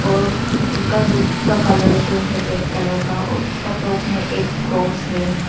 और उसका रुफ़ट का कलर जो हैं रेड कलर का है और उसका टॉप में एक क्रॉस है।